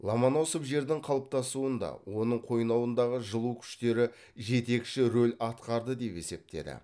ломоносов жердің қалыптасуында оның қойнауындағы жылу күштері жетекші роль атқарды деп есептеді